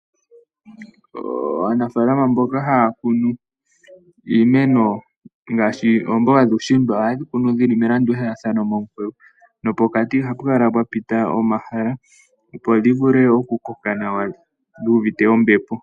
Aanafalama mboka haya kunu iimeno ngaashi oomboga dhuushimba ohayedhi kunu dhili melandulathano nopokati ohapu kala pwa pita omahala opo dhi vule okukoka nawa.